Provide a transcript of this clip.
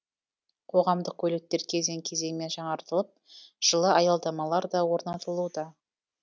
қоғамдық көліктер кезең кезеңмен жаңартылып жылы аялдамалар да орнатылуда